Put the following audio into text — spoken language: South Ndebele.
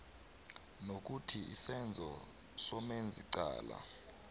nokuthi isenzo somenzicala